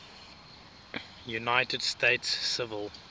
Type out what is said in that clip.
united states civil